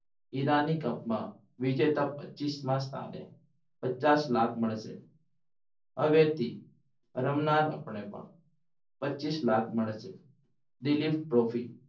હીરાની cup માં વિજેતા પચીસ મા સ્થાને પચાસ લાખ મળશે હવેથી રમનારને પણ પચીસ લાખ મળે છે દિલીપ trophy